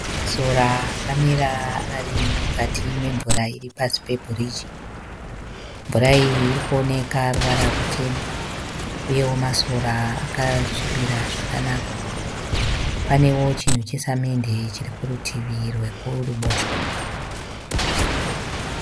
Masora akamira arimukati memvura iripasi pebhiriji. Mvura iyi irikuoneka ruwara rutema, uyeo masora akasvibira zvakanaka. Paneo chinhu chesamende chiri kurutivi rwe kuruboshwe.